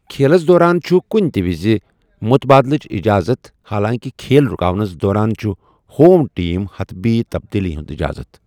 کھیلس دوران چھُ کُنہِ تہِ وِز مُتبٲدِلٕچ اِجازت، حالانٛکہِ کھیل رُکاونَس دوران چھِ ہوم ٹیمہِ حتمی تبدیٖلی ہِنٛز اجازت۔